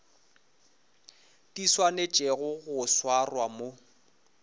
di swanetšego go swarwa mo